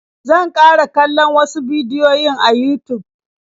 Zan ƙara kallon wasu bidiyoyin a Yutub.